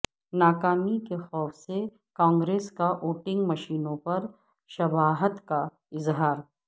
ناکامی کے خوف سے کانگریس کا ووٹنگ مشینوں پر شبہات کا اظہار